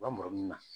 Lamɔ min na